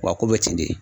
Wa a ko bɛ ten de